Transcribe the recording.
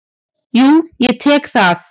Jú, ég tek það.